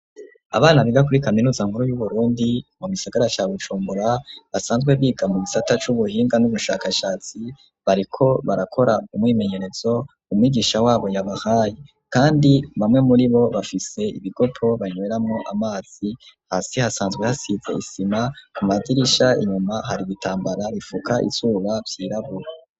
Abana biga kuri kaminuza nkuru y'uBurundi mu gisagara ca Bujumbura basanzwe biga mu bisata c'ubuhinga n'ubushakashatsi bariko barakora umwimenyerezo umwigisha wabo yabahaye kandi bamwe muri bo bafise ibigopo banyweramo amazi, hasi hasanzwe hasize isima ku madirisha inyuma hari ibitambara bipfuka izuba vyirabura.